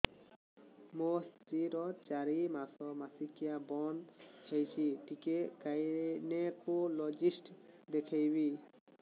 ମୋ ସ୍ତ୍ରୀ ର ଚାରି ମାସ ମାସିକିଆ ବନ୍ଦ ହେଇଛି ଟିକେ ଗାଇନେକୋଲୋଜିଷ୍ଟ ଦେଖେଇବି